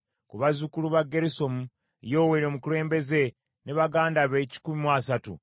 ku bazzukulu ba Gerusomu, Yoweeri omukulembeze ne baganda be kikumi mu asatu;